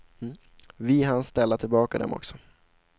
Vi hann ställa tillbaka dem också.